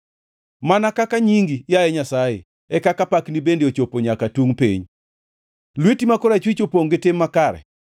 Mana kaka nyingi, yaye Nyasaye, e kaka pakni bende chopo nyaka tungʼ piny; lweti ma korachwich opongʼ gi tim makare.